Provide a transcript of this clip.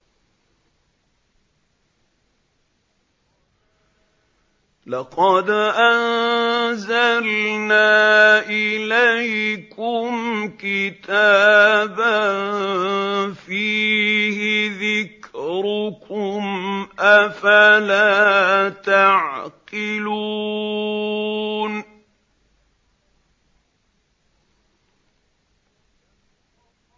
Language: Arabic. لَقَدْ أَنزَلْنَا إِلَيْكُمْ كِتَابًا فِيهِ ذِكْرُكُمْ ۖ أَفَلَا تَعْقِلُونَ